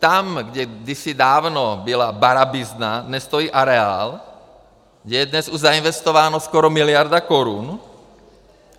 Tam, kde kdysi dávno byla barabizna, dnes stojí areál, kde je dnes už zainvestována skoro miliarda korun.